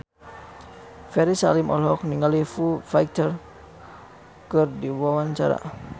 Ferry Salim olohok ningali Foo Fighter keur diwawancara